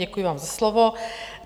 Děkuji vám za slovo.